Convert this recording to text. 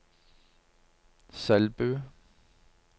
Selbu